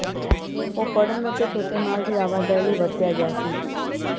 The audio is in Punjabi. ਉਹ ਫੜਨ ਅਤੇ ਛੋਟੇ ਮਾਲ ਦੀ ਆਵਾਜਾਈ ਲਈ ਵਰਤਿਆ ਗਿਆ ਸੀ